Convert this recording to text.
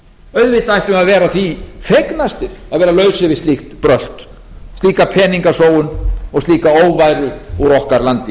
auðvitað ættum við að vera því fegnastir að vera lausir við slíkt brölt slíka peningasóun og slíka óværu úr okkar landi